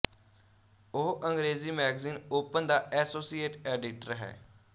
ਉਹ ਅੰਗਰੇਜ਼ੀ magazine Open ਦਾ ਐਸੋਸੀਏਟ ਐਡੀਟਰ ਹੈ